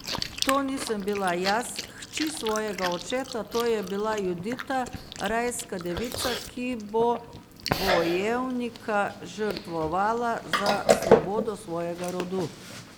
To nisem bila jaz, hči svojega očeta, to je bila Judita, rajska devica, ki bo bojevnika žrtvovala za svobodo svojega rodu.